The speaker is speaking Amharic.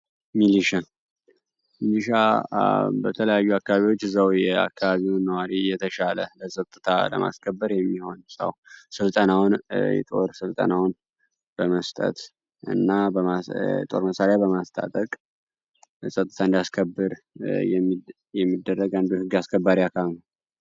ሚኒሻ ሚኒሻ በተለያዩ አካባቢዎች እዛው የተሻለ ፀጥታ ለማስከበር የሚሆን ሰው የጦር ስልጠናውን በመስጠት እና የጦር መሳሪያ በማስታጠቅ ፀጥታ እንዲያስከብር የሚደረግ አንዱ የህግ አካል ነው።